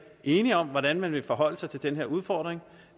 enige om hvordan man vil forholde sig til den udfordring